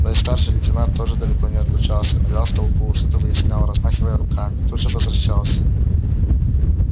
но и старший лейтенант тоже далеко не отлучался нырял в толпу что-то выяснял размахивая руками и тут же возвращался